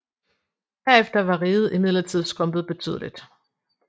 Herefter var riget imidlertid skrumpet betydeligt